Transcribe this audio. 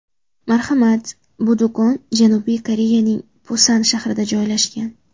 Marhamat, bu do‘kon Janubiy Koreyaning Pusan shahrida joylashgan.